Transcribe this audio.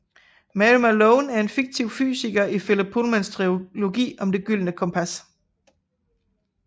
Mary Malone er en fiktiv fysiker i Philip Pullmans trilogi om Det gyldne kompas